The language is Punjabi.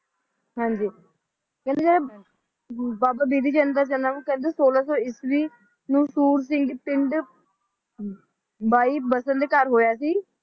ਹਾਂਜੀ ਕਹਿੰਦੇ ਬਾਬਾ ਬਿਧੀ ਚੰਦ ਦਾ ਜਨਮ ਕਹਿੰਦੇ ਸੋਲਹ ਸੋ ਈਸਵੀ ਨੂੰ ਸੂਰਜੀ ਪਿੰਡ ਬਾਈ ਬਸਨ ਦੇ ਘਰ ਹੋਇਆ ਸੀ